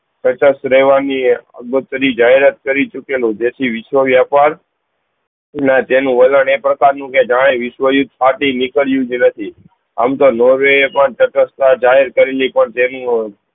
સતત રેહવાની એ બત્રી જાહેરાત કરી ચૂકેલું જેથી વિશ્વ વ્યાપાર ના તેનું વલા એ પ્રકાર નું કે જણાવે વિશ્વ માંથી નીકળ્યું જ નથી આમ તો નોર્વે પણ સતત તા જાહેર કરેલી પણ તેમનું